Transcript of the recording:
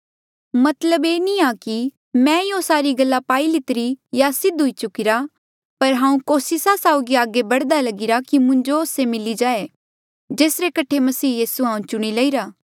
ये मतलब नी आ कि हांऊँ ये सारी गल्ला पाई लितिरी या सिद्ध हुई चुकिरा पर हांऊँ कोसिस साउगी आगे बढ़दा लगिरा कि मुंजो से मिली जाए जेसरे कठे मसीह यीसू हांऊँ चुणी लईरा